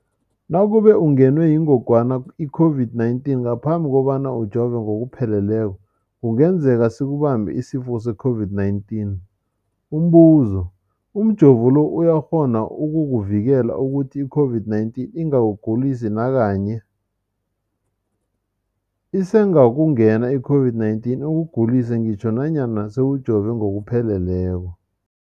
Nakube ungenwe yingogwana i-COVID-19 ngaphambi kobana ujove ngokupheleleko, kungenzeka sikubambe isifo se-COVID-19. Umbuzo, umjovo lo uyakghona ukukuvikela ukuthi i-COVID-19 ingakugulisi nakanye? Isengakungena i-COVID-19 ikugulise ngitjho nanyana sewujove ngokupheleleko.